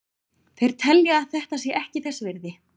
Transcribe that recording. Þeir telja að þetta sé ekki þess virði.